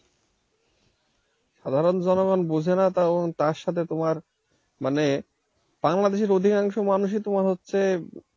সাধারণ জনগণ বুঝে না তখন তার সাথে তোমার মানে বাংলাদেশের অধিকাংশ মানুষই তোমার হচ্ছে,